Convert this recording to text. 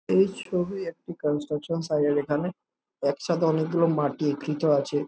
এই ছবি একটি কন্সট্রাকশন সাইড -এর এখানে। একসাথে অনেকগুলো মাটি একত্রিত আছে।